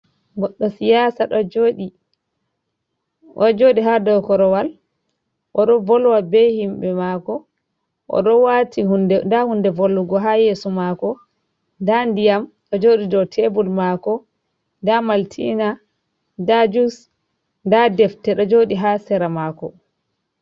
Goɗɗo siyasa ɗo joodi ha dou korowal oɗo volwa be himɓe maako. Oɗo waati nda hunde volwugo haa yeso maako, nda ndiyam ɗo jooɗi dou tebul maako. Nda maltina, nda juus, nda defte, ɗo jooɗi ha seera mako.